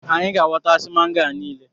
Anyị ga-ahọta si mango a niile